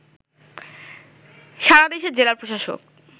সারা দেশের জেলা প্রশাসক